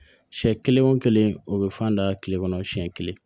Siɲɛ kelen o kelen o bɛ fan da kile kɔnɔ siɲɛ kelen